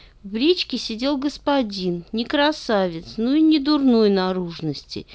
бричке сидел господин не красавец но и не дурной наружности